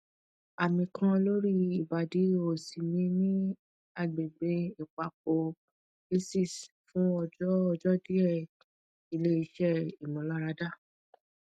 ami kan lori ibadi osi mi ni agbegbe ipapo aces fun ojo ojo die ile ise imularada